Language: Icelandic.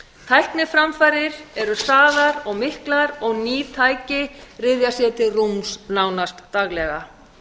tækniframfarir eru hraðar og miklar og ný tæki ryðja sér til rúms nánast daglega